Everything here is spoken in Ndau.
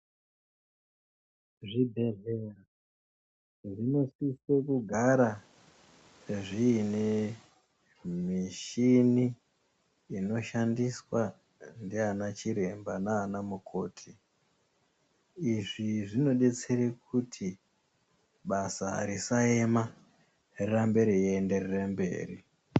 Zvibhedhlera zvinosise kugara zvine mishini inoshandiswa ndiana chiremba naanamukoti. Izvi zvinodetsere kuti basa risaema rirambe reyienderere mberi.